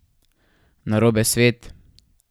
Narobe svet?